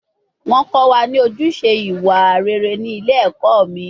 Wọ́n kọ́ wa ní ojúṣe ìwà rere ní ilé ẹ̀kọ́ mi